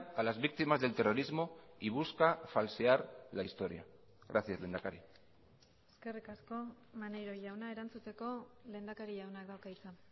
a las víctimas del terrorismo y busca falsear la historia gracias lehendakari eskerrik asko maneiro jauna erantzuteko lehendakari jaunak dauka hitza